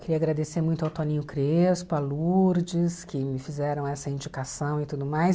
Queria agradecer muito ao Toninho Crespo, a Lourdes, que me fizeram essa indicação e tudo mais.